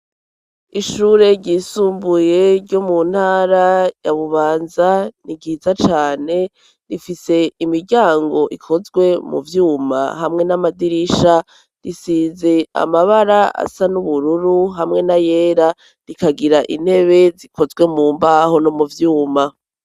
ishure ryisumbuye ryo mu ntara ya bubanza ni ryiza cane rifise imiryango ikozwe mu vyuma hamwe n'amadirisha risize amabara asa n'ubururu hamwe n'ayera rikagira intebe zikozwe mu mbaho no mu vyuma